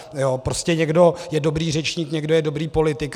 Prostě někdo je dobrý řečník, někdo je dobrý politik.